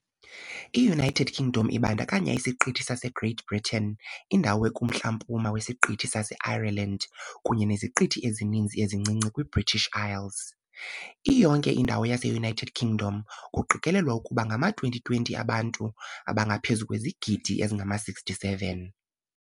I-United Kingdom ibandakanya isiqithi saseGreat Britain, indawo ekumntla-mpuma wesiqithi saseIreland, kunye neziqithi ezininzi ezincinci kwiBritish Isles . Iyonke indawo yaseUnited Kingdom , kuqikelelwa ukuba ngama-2020 abantu abangaphezu kwezigidi ezingama-67.